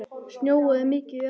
Snjóaði mikið í apríl?